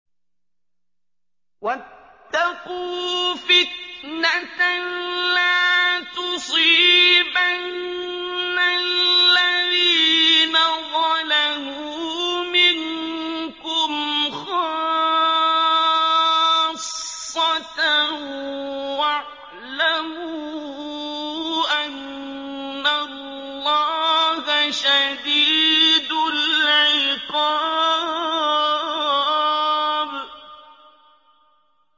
وَاتَّقُوا فِتْنَةً لَّا تُصِيبَنَّ الَّذِينَ ظَلَمُوا مِنكُمْ خَاصَّةً ۖ وَاعْلَمُوا أَنَّ اللَّهَ شَدِيدُ الْعِقَابِ